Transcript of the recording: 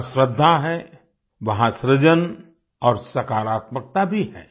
जहां श्रद्धा है वहाँ सृजन और सकारात्मकता भी है